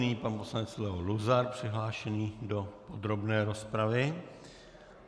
Nyní pan poslanec Leo Luzar přihlášený do podrobné rozpravy.